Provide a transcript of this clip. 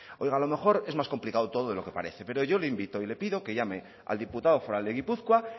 oiga a lo mejor es más complicado todo de lo que parece pero yo le invito y le pido que llame al diputado foral de gipuzkoa